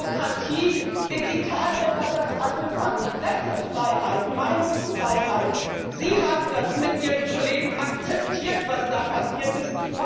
Demokratie in Italien hat das angefangen Pressefreiheit, Meinungsfreiheit Sie haben das mit Ihren Kollegen akzeptiert, was da passiert ist.